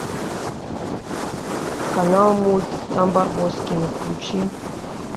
канал мульт там барбоскины включи